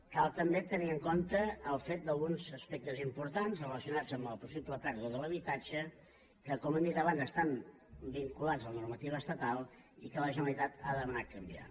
cal també tenir en compte el fet d’alguns aspectes importants relacionats amb la possible pèrdua de l’habitatge que com hem dit abans estan vinculats amb la normativa estatal i que la generalitat ha demanat canviar